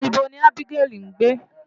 Ibo ni Ábígẹ́lì ń gbé?